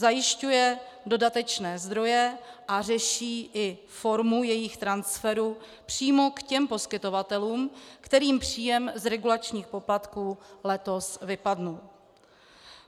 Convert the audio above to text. Zajišťuje dodatečné zdroje a řeší i formu jejich transferů přímo k těm poskytovatelům, kterým příjem z regulačních poplatků letos vypadl.